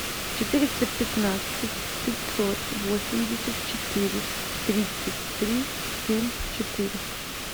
четыреста пятнадцать пятьсот восемьдесят четыре тридцать три семь четыре